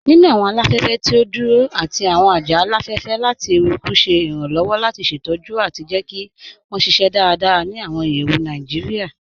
Nínu awọn aláfẹ̀fẹ̀ tí o dúró àti awọn ajá aláfẹ̀fẹ̀ lati èrùkù ṣè irànlowọ̀ lati ṣetọ̀jù àti jẹ́ kí wọn ṣíṣẹ́ dáràdárà ni awọn ìyẹ̀wù Naijíríà.